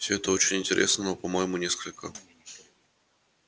все это очень интересно но по-моему несколько